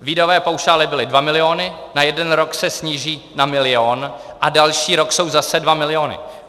výdajové paušály byly dva miliony, na jeden rok se sníží na milion a další rok jsou zase dva miliony.